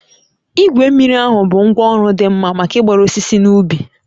Igwe mmiri ahụ bụ ngwá ọrụ dị mma maka ịgbara osisi n'ubi